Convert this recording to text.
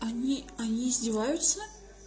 они они издеваются